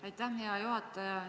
Aitäh, hea juhataja!